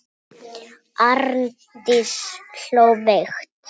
Arndís hló veikt.